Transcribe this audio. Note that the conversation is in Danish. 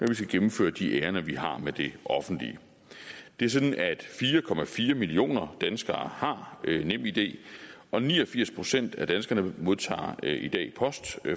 vi skal gennemføre de ærinder vi har med det offentlige det er sådan at fire millioner danskere har nemid og ni og firs procent af danskerne modtager i dag post